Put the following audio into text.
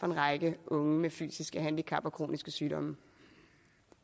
en række unge med fysiske handicap og kroniske sygdomme